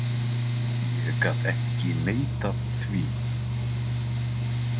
Ég gat ekki neitað því.